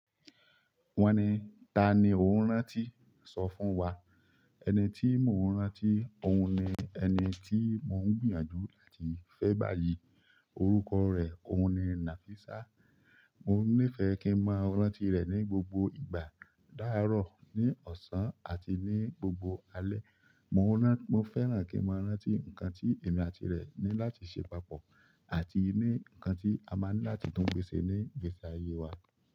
Wọ́n ni: Tani ò ń rántí? Sọ fún wa. Ẹni tí mò ń rántí òun ni ẹni tí mò ń gbìyànjú láti fẹ́ báyìí. Orúkọ rẹ̀ òun ni Nafisa. Mò nífẹ̀ẹ́ kí n mọ rántí rẹ̀ ní gbogbo ìgbà, láàárọ̀, ní ọ̀sán àti ní gbogbo alẹ́. Mò ń rán-- mo fẹ́ràn kí n máa rántí nǹkan tí èmi àti rẹ̀ ní láti ṣe papọ̀ àti ní nǹkan tí a máa ní láti tún gbé ṣe ní gbéṣẹ̀ ayé wa.